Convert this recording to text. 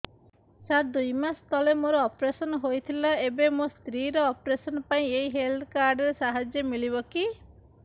ସାର ଦୁଇ ମାସ ତଳରେ ମୋର ଅପେରସନ ହୈ ଥିଲା ଏବେ ମୋ ସ୍ତ୍ରୀ ର ଅପେରସନ ପାଇଁ ଏହି ହେଲ୍ଥ କାର୍ଡ ର ସାହାଯ୍ୟ ମିଳିବ କି